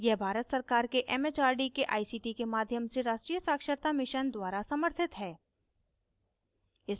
यह भारत सरकार के it it आर डी के आई सी टी के माध्यम से राष्ट्रीय साक्षरता mission द्वारा समर्थित है